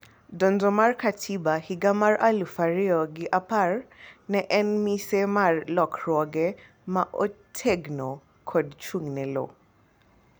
donjo mar katiba higa mar aluf ariyo gi apar ne en mise mar lokruoge ma otegno kod chung' ne lowo